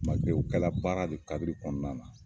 o kɛ la baara de kadiri kɔnɔna na.